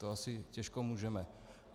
To asi těžko můžeme.